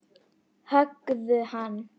Höggðu hann!